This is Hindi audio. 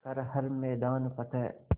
कर हर मैदान फ़तेह